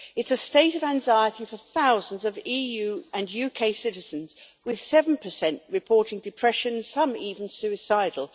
It is a state of anxiety for thousands of EU and UK citizens, with 7 reporting depression, some even suicidal.